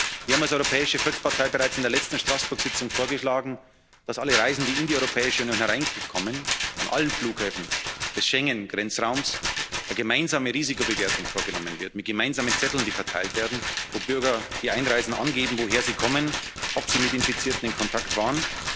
Wir haben als Europäische Volkspartei bereits in der letzten Straßburg Tagung vorgeschlagen, dass bei allen Reisenden, die in die Europäische Union hereinkommen, an allen Flughäfen des Schengen Grenzraums eine gemeinsame Risikobewertung vorgenommen wird, mit gemeinsamen Zetteln, die verteilt werden, wo Bürger, die einreisen, angeben, woher sie kommen, ob sie mit Infizierten in Kontakt